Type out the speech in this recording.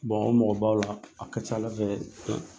o mɔgɔ b'aw la a ka ca ala fɛ